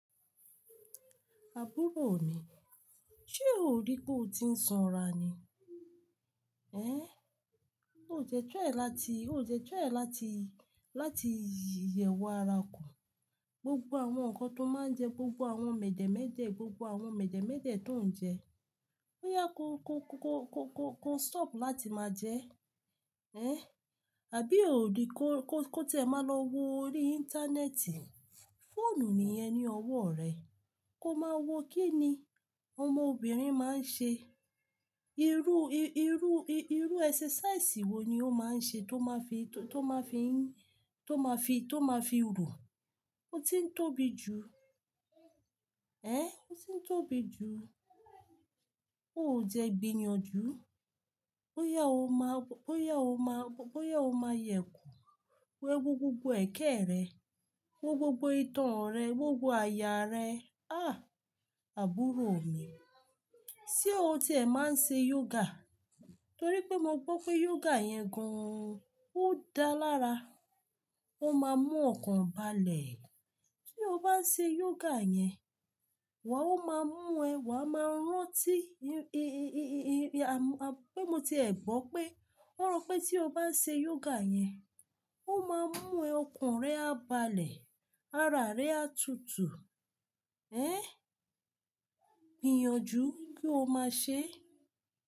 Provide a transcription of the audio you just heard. Àbúrò mi, ṣé ò rí pé o ti ń sanra ni? Ẹn, o dé try láti, o dé try láti, láti yẹ̀wò ara kù. Gbogbo àwọn nǹkan tó máa ń jẹ, gbogbo àwọn mèdèmédè, gbogbo àwọn mèdèmédè tó ń jẹ, bóyá kó, kó, kó, kó, kó, kó, kó stop láti máa jẹ. Ẹn, àbí ò rí kó, kó, kó tẹ̀ máa lọ wo orí íńtánẹ́ẹ̀tì? Fóònù nìyẹn ní ọwọ́ rẹ. Kó máa wo kí ni ọmọbìnrin máa ń ṣe. Irú, irú, irú ẹsẹsẹ̀ísàì wò ní ó máa ń ṣe tó máa fi, tó máa fi ń, tó máa fi, tó máa fi rù. O ti ń tóbi jù. Ẹn, o ti ń tóbi jù. O jẹ gbìyànjú. Bóyá ó máa, bóyá ó máa, bóyá ó máa yẹ̀kù. Wo gbogbo ẹ̀kẹ́ rẹ, wo gbogbo ìtàn rẹ, gbogbo àyà rẹ. Àh! Àbúrò mi, ṣé o ti ẹ máa ń ṣe yoga? Nítorí pé mo gbọ́ pé yoga yẹn gan-an. Ó dáa lára. Ó máa mú ọkàn balẹ̀. Ṣé o bá ń ṣe yoga yẹn? Wàá ó máa mú ẹ, wàá máa rántí. Pé mo ti ẹ gbọ́ pé wọ́n rọ pé tí o bá ń ṣe yoga yẹn, ó máa mú ẹ, ọkàn rẹ á balẹ̀, ara rẹ á tútù. Ẹn, gbìyànjú kí o máa ṣe.